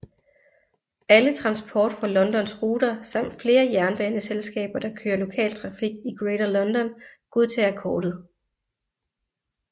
Alle Transport for Londons ruter samt flere jernbaneselskaber der kører lokaltrafik i Greater London godtager kortet